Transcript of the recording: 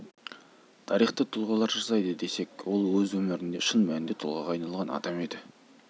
мұғалім мәртебелі мамандық екені даусыз ал сол сан мыңдаған мұғалімдердің ішінен шынайы нағыз ұстаз бола білу кім көрінгеннің